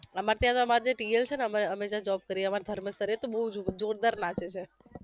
એમા અત્યારે અમારે જે TL છે ને અમે અમે જ્યા job કરીએ એમા ધર્મેશ sir એ બહુ જ જોરદાર નાચે છે